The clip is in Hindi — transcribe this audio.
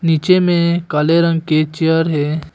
पीछे में काले रंग के चेयर है।